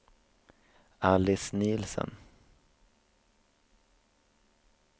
Alice Nielsen